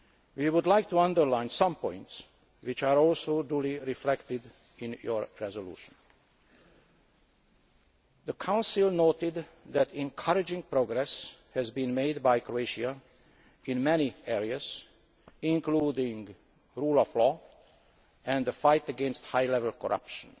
We would also like to underline some points which are duly reflected in your resolution. The Council has noted that encouraging progress has been made by Croatia in many areas, including the rule of law and the fight against high level corruption.